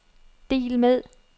del med